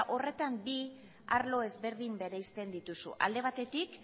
horretan bi arlo ezberdin bereizten dituzu alde batetik